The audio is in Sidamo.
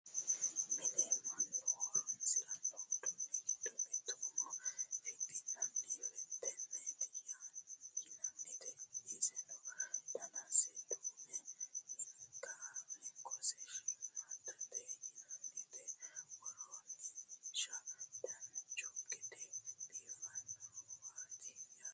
mine mannu horonsiranno uduunni giddo mitte umo fixxi'nanni fettenneeti yinannite iseno danase duumete hinkose shiimmaaddate yinannite worroonnisehuno dancha gede biifannowaati yaate